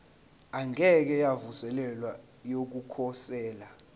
engeke yavuselelwa yokukhosela